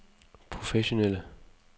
professionelle